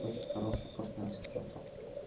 очень хороший партнёр скажем так